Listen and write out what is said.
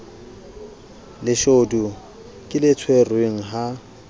leshodu ke le tshwerweng ha